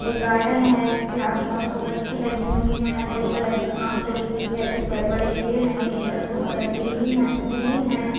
एक गार्डन है जिसके आस-पास सो पत्ती लगी हुई हैं हरे कलर की घास लगी हुई है कुछ बड़े-बड़े पेड़ हैं जिनकी पत्तियों का रंग ग्रीन है ग्रीन है ।